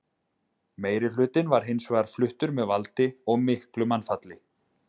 meirihlutinn var hins vegar fluttur með valdi og miklu mannfalli